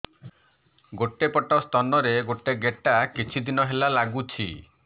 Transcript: ଗୋଟେ ପଟ ସ୍ତନ ରେ ଗୋଟେ ଗେଟା କିଛି ଦିନ ହେଲା ଲାଗୁଛି